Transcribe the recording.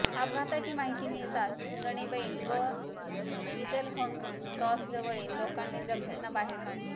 अपघाताची माहिती मिळताच गणेबैल व इदलहोंड क्रॉसजवळील लोकांनी जखमींना बाहेर काढले